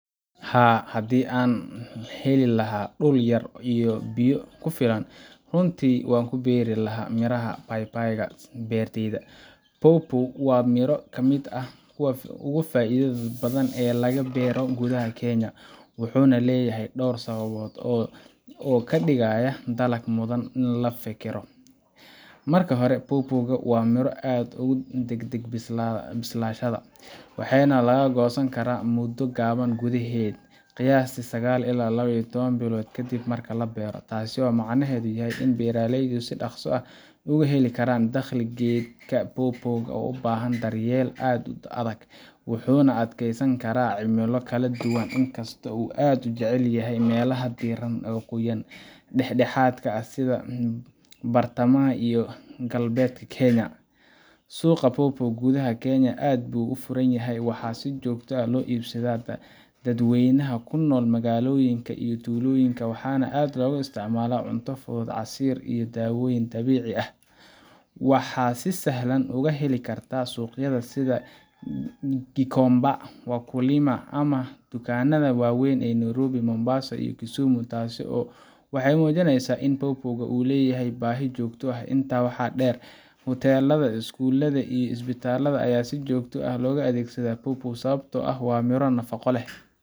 Haa hadi aan heli laaha dul yar iyo biyo kufiilan runtii waan ku beeri laaha miraha baybayga beerteyda pawpaw waa miro ka miidah kuuwa ugu faidaada badhan Ee laga beero gudaaha kenya wuxuna leyaha dor sabaabod oo kaa digaaya daalak mudaan in laga fikiro marka hore pawpaw waa miro aad ugu dagdag bislaashada waaxena laga gosani kara mudo kaban gudaxed qiyasta sagaal ila iyo lawa ii tawan bilod kabadhan taas oo micnehed yahay in beeraleyda si daqsi ah ugu helikaran daqli geydka pawpaw u bahan daryel aad u adhag wuxuna ad keysani kara cimilo kale duwana in kasto uu ad ujecalyahay melaha diiran oo qoyan dexdaxadka ah sidha bartamaha iyo galbedka kenya suqa pawpaw oo gudaxa kenya aad bu ufurayaha waa si jogta ah lo ibsada dad weynaha kunol magaloyinka iyo tuloyinka waa ad loga isticmala cunta fudu casir iyo dawoyin daweci ah waa si saxlan ugu heli karta suqyadha sidha kikomba ama wakulima ama dukan maada weyn Nairobi, Mombasa, Kisumu taasi oo waxey umujiineysa in pawpaw uleya ha baahi joogta eh oo inta waxa der hotel ama iskulada ama isbatalada aya si joogta ah loga adegsad pawpaw sababto ah waa miro nafaco leh